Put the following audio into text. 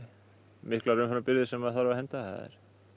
miklar umframbirgðir sem þarf að henda það